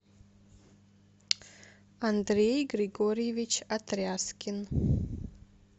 андрей григорьевич отряскин